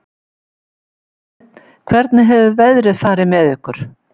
Hafsteinn: Hvernig hefur veðrið farið með ykkur?